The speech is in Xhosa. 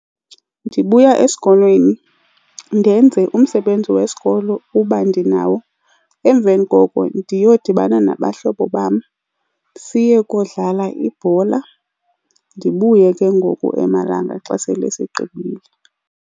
Ndibuya esikolweni ndenze umsebenzi wesikolo uba ndinawo, emveni koko ndiyodibana nabahlobo bam siyokudlala ibhola. Ndibuye ke ngoku emalanga xa sele sigqibile.